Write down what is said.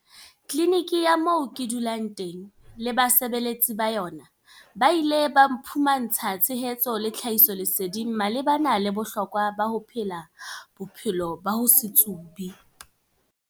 Tliniki ya moo ke dulang teng le basebetsi ba yona ba ile ba mphumantsha tshehetso le tlhahisoleseding malebana le bohlokwa ba ho phela bophelo ba ho se tsube.